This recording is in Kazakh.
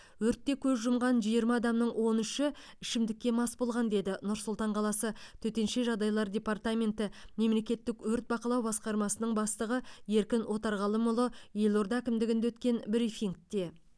өртте көз жұмған жиырма адамның он үші ішімдікке мас болған деді нұр сұлтан қаласы төтенше жағдайлар департаменті мемлекеттік өрт бақылау басқармасының бастығы еркін отарғалымұлы елорда әкімдігінде өткен брифингте